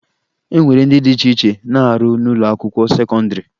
E nwere ndị dị iche iche na-arụ n'ụlọakwụkwọ sekọndịrị